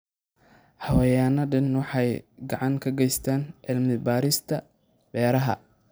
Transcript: Xayawaanadani waxay gacan ka geystaan ??cilmi baarista beeraha.